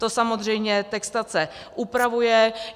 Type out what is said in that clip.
To samozřejmě textace upravuje.